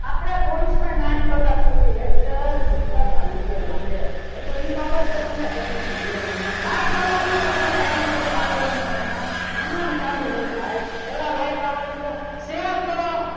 આપણે constant આઠ કલાક સુધી lecture ભૂતકાળમાં લીધેલા છે એટલે એ બાબતે તમે tension લ્યો માં like આવાદો પછી ચાલુ કરું આગળનો સમાસ એમનેમ ચાલુ નહીં થાય પહેલા like આવા દો share કરો.